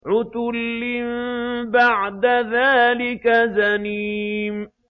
عُتُلٍّ بَعْدَ ذَٰلِكَ زَنِيمٍ